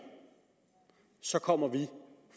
så kommer vi